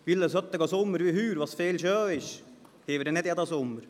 Einen solchen Sommer wie dieses Jahr, als es oft schön war, haben wir nicht jeden Sommer.